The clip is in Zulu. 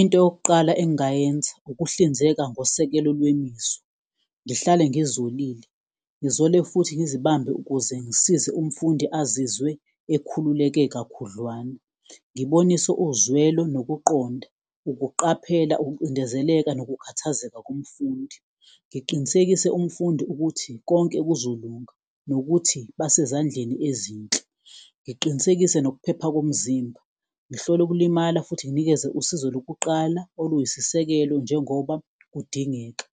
Into yokuqala engayenza ukuhlinzeka ngosekelo lwemizwa ngihlale ngizolile, ngizole futhi ngizibambe ukuze ngisize umfundi azizwe ekhululeke kakhudlwana, ngibonise uzwelo nokuqonda, ukuqaphela, ukucindezeleka nokukhathazeka komfundi. Ngiqinisekise umfundi ukuthi konke kuzolunga nokuthi basezandleni ezinhle, ngiqinisekise nokuphepha komzimba, ngihlole ukulimala futhi nginikeze usizo lokuqala oluyisisekelo njengoba kudingeka,